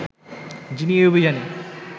যিনি এই অভিযানে